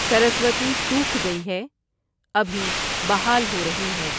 سرسوتی سوکھ گئی ہے، ابھی بحال ہو رہی ہے